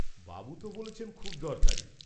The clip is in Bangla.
বাৱু তো বলেছেন খুব দরকারী।